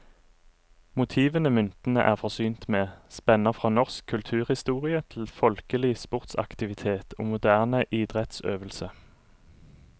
Motivene myntene er forsynt med, spenner fra norsk kulturhistorie til folkelig sportsaktivitet og moderne idrettsøvelse.